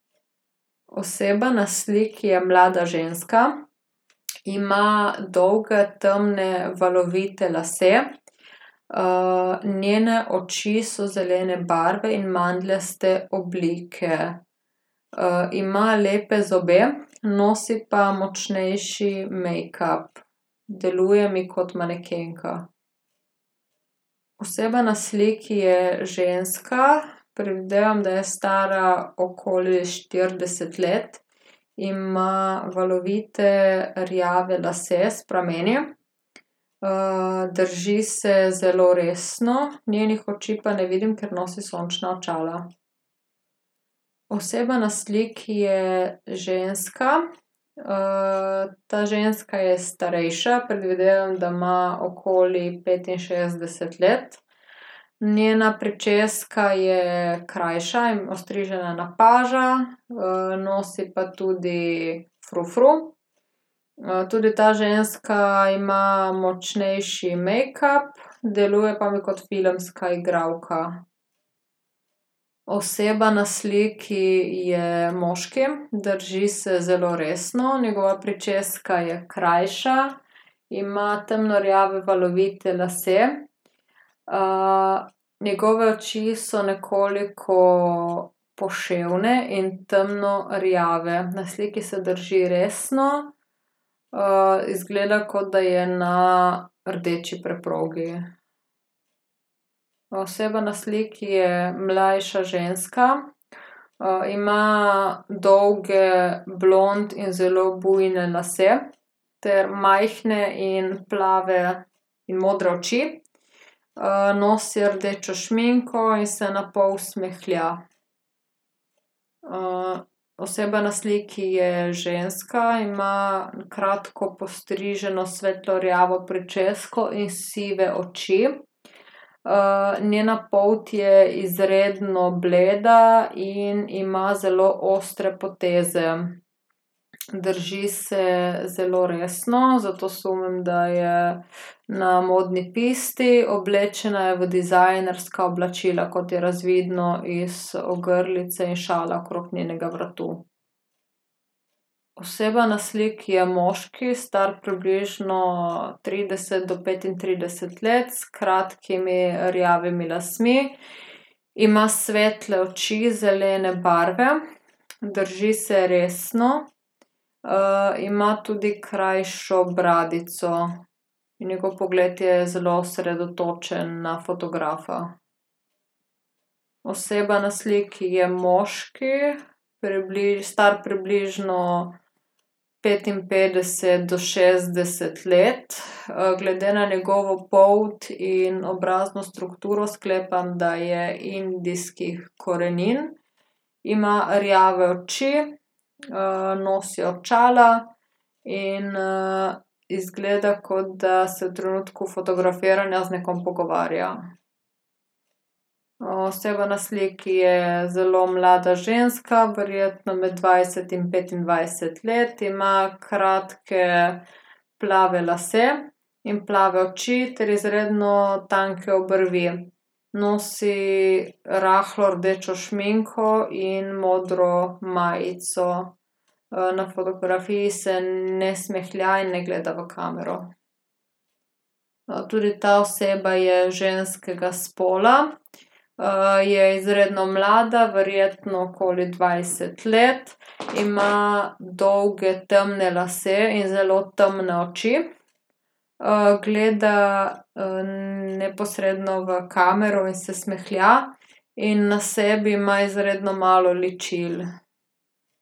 Oseba na sliki je mlada ženska. Ima dolge temne valovite lase. njene oči so zelene barve in mandljaste oblike. ima lepe zobe, nosi pa močnejši mejkap. Deluje mi kot manekenka. Oseba na sliki je ženska, predvidevam, da je stara okoli štirideset let. Ima valovite rjave lase s prameni. drži se zelo resno, njenih oči pa ne vidim, ker nosi sončna očala. Oseba na sliki je ženska, ta ženska je starejša, predvidevam, da ima okoli petinšestdeset let. Njena pričeska je krajša in ostrižena na paža, nosi pa tudi frufru. tudi ta ženska ima močnejši mejkap, deluje pa mi kot filmska igralka. Oseba na sliki je moški, drži se zelo resno, njegova pričeska je krajša, ima temno rjave valovite lase. njegove oči so nekoliko poševne in temno rjave. Na sliki se drži resno, izgleda, kot da je na rdeči preprogi. oseba na sliki je mlajša ženska, ima dolge blond in zelo bujne lase ter majhne in plave in modre oči. nosi rdečo šminko in se napol smehlja. oseba na sliki je ženska, ima kratko postriženo svetlo rjavo pričesko in sive oči. njena polt je izredno bleda in ima zelo ostre poteze. Drži se zelo resno, zato sumim, da je na modni pusti, oblečena je v dizajnerska oblačila, kot je razvidno iz ogrlice in šala okrog njenega vratu. Oseba na sliki je moški, star približno trideset do petintrideset let. S kratkimi rjavimi lasmi, ima svetle oči zelene barve, drži se resno, ima tudi krajšo bradico in njegov pogled je zelo osredotočen na fotografa. Oseba na sliki je moški, star približno petinpetdeset do šestdeset let, glede na njegovo polt in obrazno strukturo sklepam, da je indijskih korenin. Ima rjave oči, nosi očala in, izgleda, kot da se v trenutku fotografiranja z nekom pogovarja. oseba na sliki je zelo mlada ženska, verjetno med dvajset in petindvajset let. Ima kratke plave lase in plave oči ter izredno tanke obrvi. Nosi rahlo rdečo šminko in modro majico. na fotografiji se ne smehlja in ne gleda v kamero. tudi ta oseba je ženskega spola. je izredno mlada, verjetno okoli dvajset let, ima dolge tmne lase in zelo temne oči. gleda, neposredno v kamero in se smehlja in na sebi ima izredno malo ličil.